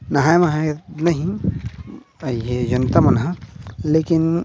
नहाए वहाये नहीं अए ये जनता मन ह लेकिन--